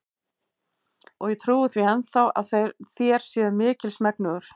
Og ég trúi því enn þá, að þér séuð mikils megnugur.